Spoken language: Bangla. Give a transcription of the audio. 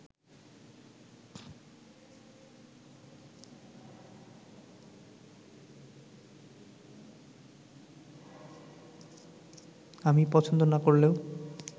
আমি পছন্দ না করলেও